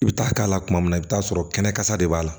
I bɛ taa k'a la kuma min na i bɛ t'a sɔrɔ kɛnɛ kasa de b'a la